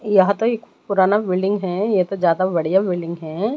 यहां तो एक पुराना बिल्डिंग हैं ये तो ज्यादा बढ़िया बिल्डिंग हैं।